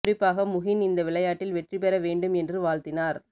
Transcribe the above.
குறிப்பாக முகின் இந்த விளையாட்டில் வெற்றி பெற வேண்டும் என்று வாழ்த்தினார்